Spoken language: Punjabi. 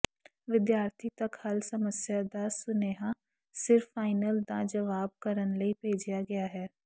ਵਿਦਿਆਰਥੀ ਤੱਕ ਹੱਲ ਸਮੱਸਿਆ ਦਾ ਸੁਨੇਹਾ ਸਿਰਫ਼ ਫਾਈਨਲ ਦਾ ਜਵਾਬ ਕਰਨ ਲਈ ਭੇਜਿਆ ਗਿਆ ਹੈ